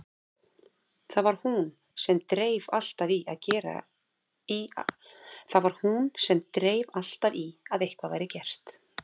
Það var hún sem dreif alltaf í að eitthvað væri gert.